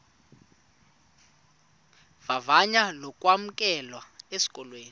vavanyo lokwamkelwa esikolweni